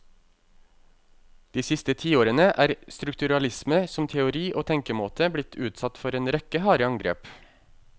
De siste tiårene er strukturalisme som teori og tenkemåte blitt utsatt for en rekke harde angrep.